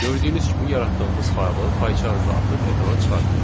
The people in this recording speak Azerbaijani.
Gördüyünüz kimi yaratdığımız faylı Pycharmda artıq ekrana çıxartdıq.